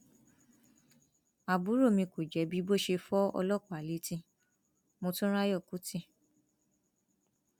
àbúrò mi kò jẹbi bó ṣe fọ ọlọpàá létí motunráyò kùtì